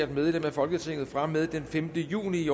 medlem af folketinget fra og med den femte juni